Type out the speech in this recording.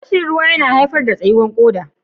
Rashin ruwa yana haifar da tsakuwan koda.